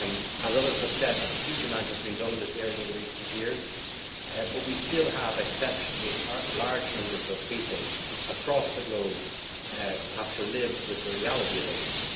As others have said, a huge amount has been done in this area in recent years, but we still have exceptionally large numbers of people across the globe who have to live with the reality of AIDS.